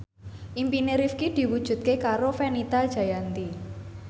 impine Rifqi diwujudke karo Fenita Jayanti